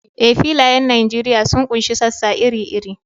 Eh, filayen Nijeriya sun ƙunshi sassa iri-iri.